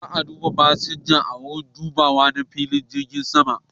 Za'a duba fasinjojin a wurin dubawa na filin jirgin saman.